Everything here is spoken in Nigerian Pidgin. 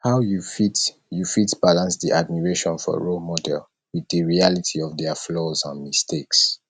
how you fit you fit balance di admiration for role model with di reality of their flaws and mistakes